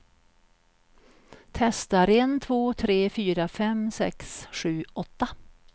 Testar en två tre fyra fem sex sju åtta.